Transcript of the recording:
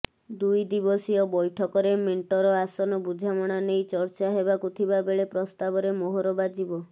ଦୁଇ ଦିବସୀୟ ବୈଠକରେ ମେଣ୍ଟର ଆସନ ବୁଝାମଣା ନେଇ ଚର୍ଚ୍ଚା ହେବାକୁ ଥିବା ବେଳେ ପ୍ରସ୍ତାବରେ ମୋହର ବାଜିବ